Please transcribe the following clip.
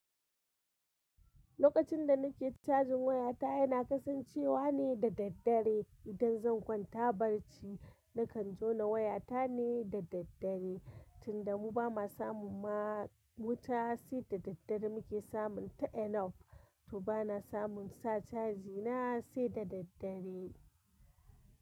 Lokacin da nake cajin wayata, yana kasancewa ne da daddare. Idan zan kwanta barci, na kan jona wayata ne da daddare. Tunda mu ba ma samun ma wuta sai da daddare muke samun ta enough to bana samun sa caji na sai da daddare.